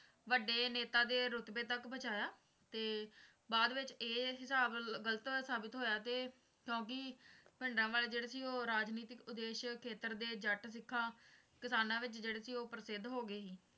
ਵੱਡੇ ਨੇਤਾ ਦੇ ਰੁਤਬੇ ਤੱਕ ਪਹੁੰਚਾਇਆ ਤੇ ਬਾਅਦ ਵਿੱਚ ਇਹ ਹਿਸਾਬ ਗਲਤ ਸਾਬਿਤ ਹੋਇਆ ਤੇ ਕਿਉਂਕਿ ਭਿੰਡਰਾਂਵਾਲਾ ਜਿਹੜਾ ਸੀ ਰਾਜਨੀਤਿਕ ਉੱਦੇਸ਼ ਖੇਤਰ ਦੇ ਜੱਟ ਸਿੱਖਾਂ ਕਿਸਾਨਾਂ ਵਿੱਚ ਜਿਹੜੇ ਸੀ ਉਹ ਪ੍ਰਸਿੱਧ ਹੋ ਗਏ ਸੀ